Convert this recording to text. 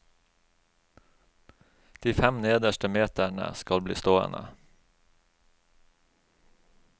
De fem nederste meterne skal bli stående.